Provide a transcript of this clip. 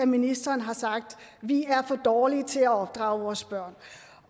ministeren har sagt at vi er for dårlige til at opdrage vores børn